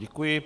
Děkuji.